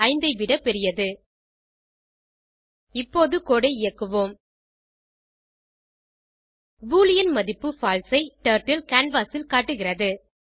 5 ஐ விட பெரியது இப்போது கோடு ஐ இயக்குவோம் பூலியன் மதிப்பு பால்சே ஐ டர்ட்டில் கேன்வாஸ் ல் காட்டுகிறது